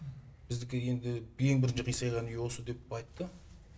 біздікі енді ең бірінші қисайған үй осы деп айтты